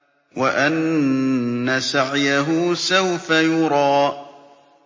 وَأَنَّ سَعْيَهُ سَوْفَ يُرَىٰ